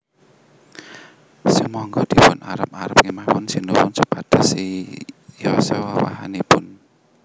Sumangga dipun arep arep kemawon Sinuwun supados siyosa wiwahanipun